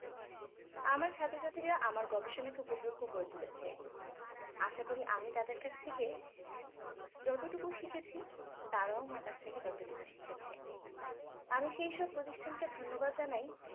আমার ছাত্রছাত্রীরা আমার গবেষণাকে উপভোগ্য করে তুলেছে আশা করি আমি তাদের কাছ থেকে যতটুকু শিখেছি তারাও আমার কাছ থেকে ততটুকু শিখেছে আমি সেই সব প্রতিষ্ঠানকে ধন্যবাদ জানাই